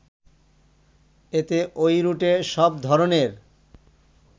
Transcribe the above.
এতে ওই রুটে সব ধরনের